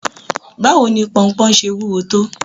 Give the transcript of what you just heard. Báwo ni ponpon ṣe wúwo tó?